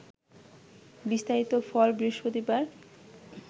বিস্তারিত ফল বৃহস্পতিবার